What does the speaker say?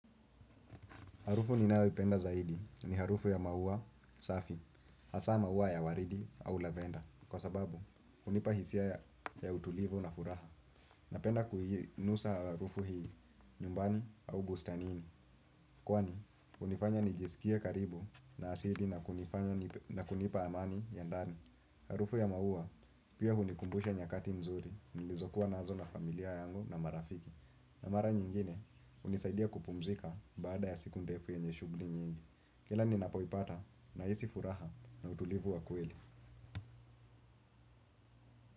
Harufu ninayoipenda zaidi ni harufu ya maua, safi, hasa maua ya waridi au lavender kwa sababu hunipa hisia ya utulivu na furaha. Napenda kuinusa harufu hii nyumbani au bustanini kwani hunifanya nijisikie karibu na asili na kunipa amani ya ndani. Harufu ya maua pia hunikumbusha nyakati mzuri nilizokuwa nazo na familia yangu na marafiki. Na mara nyingine hunisaidia kupumzika baada ya siku ndefu yenye shughuli nyingi. Kila ninapoipata nahiai furaha na utulivu wa kweli.